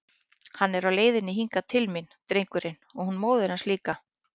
Hann er á leiðinni hingað til mín, drengurinn, og hún móðir hans líka!